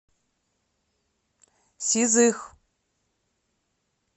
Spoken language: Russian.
сизых